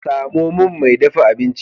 Samo min mai dafa abinci.